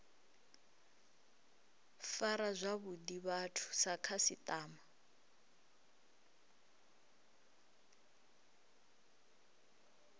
fara zwavhuḓi vhathu sa khasiṱama